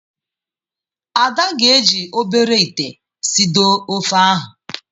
Ada ga-eji obere ite sidoo ofe ahụ.